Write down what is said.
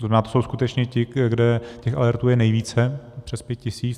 To znamená, to jsou skutečně ti, kde těch alertů je nejvíce, přes 5 tisíc.